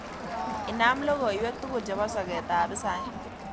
Inam logoywek tugul chebo soketab hisaik